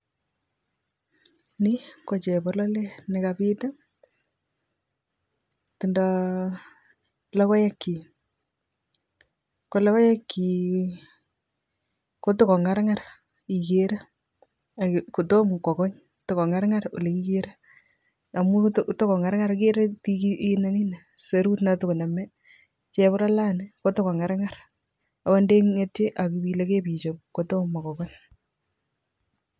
Ni ko chebololet ne kabit tindo logoekchi ko logoekchi koto kongarngar ikere ak kotomo kokony tokokarkar ye ikere amu takongarngar ak ikere nini ni serut no takonome chebololani kotakongarngar akot te ngetie ak ibile ibichob kotomo kokony.